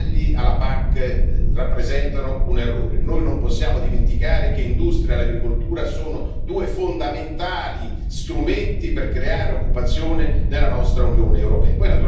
I tagli alla PAC rappresentano un errore, noi non possiamo dimenticare che l'industria e l'agricoltura sono due fondamentali strumenti per creare occupazione nella nostra Unione europea.